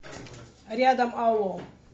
рядом алло